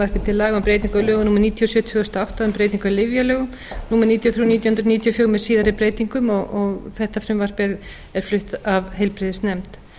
og átta um breytingu á lyfjalögum númer níutíu og þrjú nítján hundruð níutíu og fjögur með síðari breytingum þetta frumvarp er flutt af heilbrigðisnefnd